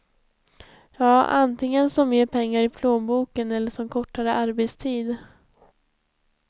Ja, antingen som mer pengar i plånboken eller som kortare arbetstid.